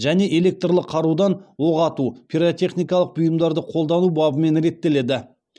және электрлі қарудан оқ ату пиротехникалық бұйымдарды қолдану бабымен реттеледі